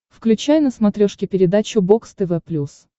включай на смотрешке передачу бокс тв плюс